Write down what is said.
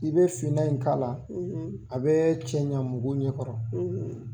I bɛ finna in k'a la a bɛ cɛ ɲa mɔgɔw ɲɛ kɔrɔ.